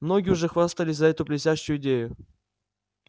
многие уже хватались за эту блестящую идею